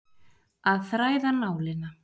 Að þræða nálina